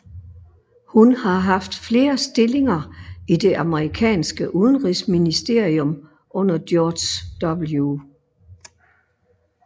Hun har haft flere stillinger i det amerikanske udenrigsministerium under George W